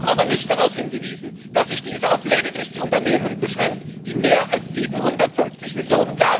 Sie haben aber nicht darauf hingewiesen, dass sich diese auf lediglich die Unternehmen beschränkt, die mehr als 750 Mio.